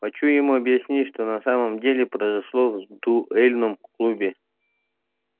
хочу ему объяснить что на самом деле произошло в дуээльном клубе